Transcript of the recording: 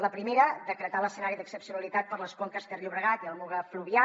la primera decretar l’escenari d’excepcionalitat per a les conques ter llobregat i la muga fluvià